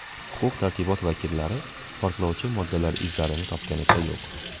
Huquq-tartibot vakillari portlovchi moddalar izlarini topganicha yo‘q.